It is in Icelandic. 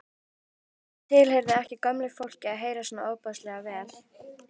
Það tilheyrði ekki gömlu fólki að heyra svona ofboðslega vel.